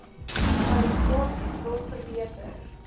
kwalifikasies wil verbeter